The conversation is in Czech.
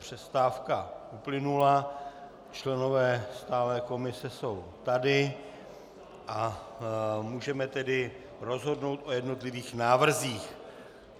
Přestávka uplynula, členové stálé komise jsou tady, a můžeme tedy rozhodnout o jednotlivých návrzích.